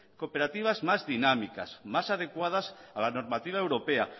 cooperativas más dinámicas más adecuadas a la normativa europea